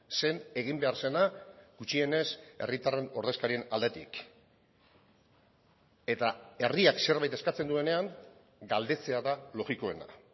zen egin behar zena gutxienez herritarren ordezkarien aldetik eta herriak zerbait eskatzen duenean galdetzea da logikoena